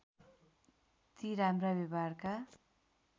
ती राम्रा व्यवहारका